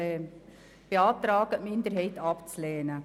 Wir beantragen daher, den Minderheitsantrag abzulehnen.